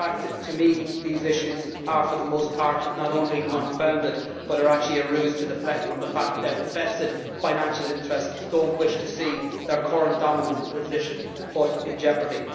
But in fact, to me, these issues are for the most part not only unfounded but are actually a ruse to deflect attention from the fact that vested financial interests do not wish to see their current dominant position put in jeopardy.